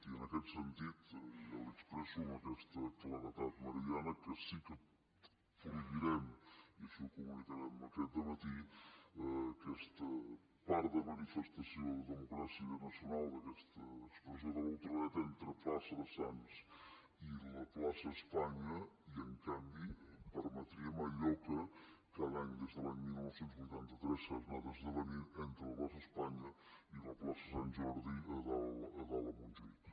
i en aquest sentit ja li expresso amb aquesta claredat meridiana que sí que prohibirem i així ho comunicarem aquest dematí aquesta part de manifestació de democràcia nacional d’aquesta expressió de la ultradreta entre la plaça de sants i la plaça espanya i en canvi permetríem allò que cada any des de l’any dinou vuitanta tres s’ha anat esdevenint entre la plaça espanya i la plaça sant jordi a dalt a montjuïc